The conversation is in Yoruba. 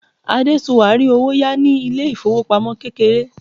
adesua ri owo ya ni ilé ifowopamọ kékeré